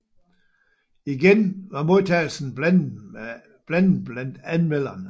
Igen var modtagelsen blandet blandt anmelderne